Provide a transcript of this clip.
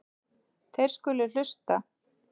Þeir skulu hlusta.